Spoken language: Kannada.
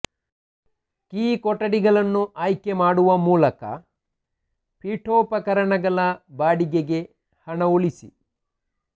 ಕೀ ಕೊಠಡಿಗಳನ್ನು ಆಯ್ಕೆ ಮಾಡುವ ಮೂಲಕ ಪೀಠೋಪಕರಣಗಳ ಬಾಡಿಗೆಗೆ ಹಣ ಉಳಿಸಿ